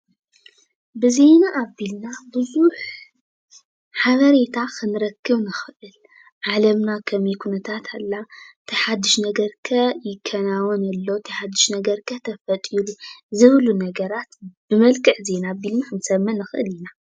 ብዜና ኣቢልና ብዙሕ ሓበሬታ ክንረክብ ንኽእል፡፡ ዓለምና ከመይ ኩነታት ኣላ፡፡ እንታይ ሓዱሽ ነገር ከ ይከናወን ኣሎ፡፡ እንታይ ሓዱሽ ነገር ከ ተፈጢሩ ዝብሉ ነገራት ብመልክዕ ዜና ኣቢልና ክንሰምዕ ንኽእል ኢና፡፡